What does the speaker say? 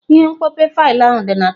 Ihe mkpope faịlụ ahụ dị na tebụl.